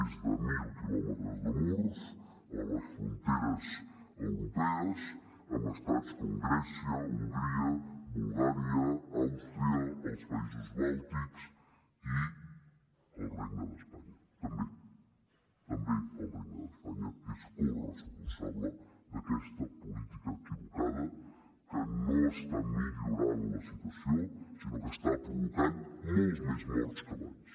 més de mil quilòmetres de murs a les fronteres europees en estats com grècia hongria bulgària àustria els països bàltics i el regne d’espanya també també el regne d’espanya és corresponsable d’aquesta política equivocada que no està millorant la situació sinó que està provocant molts més morts que abans